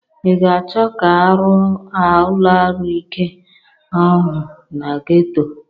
Ị ga-achọ ka arụọ ụlọarụike ahụ na Geto?